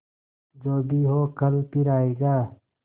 जो भी हो कल फिर आएगा